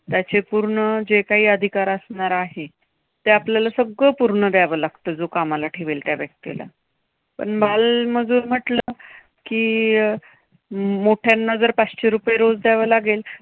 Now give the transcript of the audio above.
त्याचे पूर्ण जे काही अधिकार असणार आहेत, ते आपल्याला सगळं पूर्ण द्यावे लागतं जो कामाला ठेवेल त्या व्यक्तीला. पण बालमजूर म्हटलं की अं मोठ्यांना पाचशे रुपये रोज द्यावे लागेल